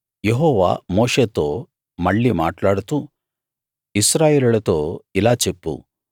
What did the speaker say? యెహోవా మోషేతో మళ్ళీ మాట్లాడుతూ ఇశ్రాయేలీయులతో ఇలా చెప్పు